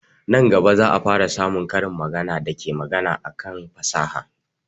Nan gaba za a fara samun karin magana da ke magana akan fasaha